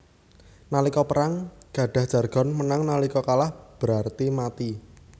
Nalika perang gadah jargon Menang nalika kalah berarti mati